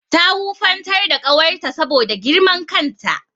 Ta wufantar da ƙawarta saboda girman kan ta.